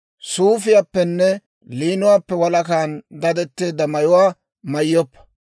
«Suufiyaappenne liinuwaappe walakan dadetteedda mayuwaa mayyoppa.